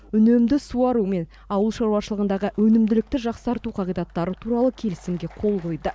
үнемді суару мен ауыл шаруашылығындағы өнімділікті жақсарту қағидаттары туралы келісімге қол қойды